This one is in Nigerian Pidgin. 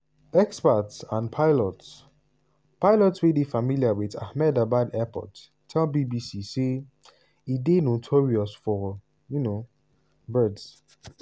experts and pilots pilots wey dey familiar wit ahmedabad airport tell bbc say e dey "notorious for um birds".